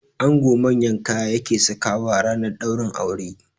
Ango manyan kaya yake sakawa ranar ɗaurin aure